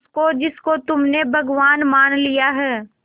उसको जिसको तुमने भगवान मान लिया है